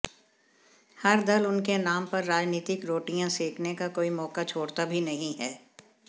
हर दल उनके नाम पर राजनीतिक रोटियां सेंकने का कोई मौका छोड़ता भी नहीं है